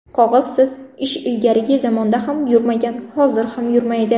Qog‘ozsiz ish ilgarigi zamonda ham yurmagan, hozir ham yurmaydi.